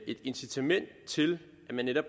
et incitament til at man netop